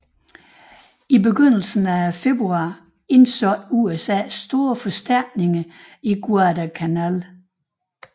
I begyndelsen af februar indsatte USA store forstærkninger på Guadalcanal